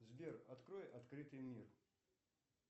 сбер открой открытый мир